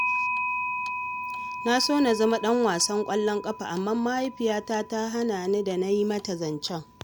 Na so na zama ɗan wasan ƙwallon ƙafa, amma mahaifiyata ta hana ni da na yi mata zancen